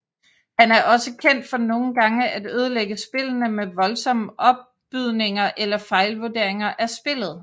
Han er også kendt for nogle gange at ødelægge spillene med voldsomme opbydninger eller fejlvuderinger af spillet